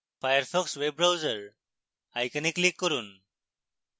firefox web browser icon click করুন